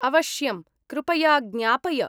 अवश्यं, कृपया ज्ञापय।